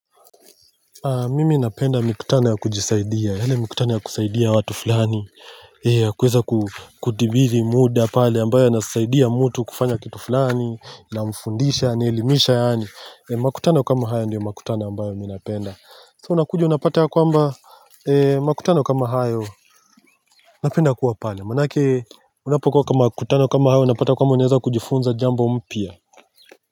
Mimi napenda mikutano ya kujisaidia, ile mikutano ya kusaidia watu fulani kuweza kutibiri muda pale ambayo nasaidia mtu kufanya kitu fulani Namfundisha, naelimisha yaani, makutano kama haya ndio mkutano ambayo mimi napenda So unakuja unapata ya kwamba, makutano kama hayo, napenda kuwa pale manake unapokuwa kwa makutano kama hayo, unapata kuwa unaweza kujifunza jambo mpya.